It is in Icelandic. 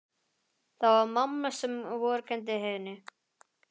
Það var mamma sem vorkenndi henni.